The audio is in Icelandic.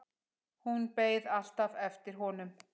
Hún beið alltaf eftir honum.